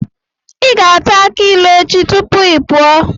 Ị ga-ata akị ilu echi tupu ị pụọ.